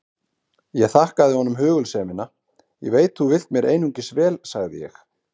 Ég þakkaði honum hugulsemina: Ég veit þú vilt mér einungis vel sagði ég.